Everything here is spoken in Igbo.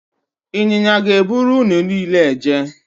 Ịnyịnya ga-eburu unu niile eje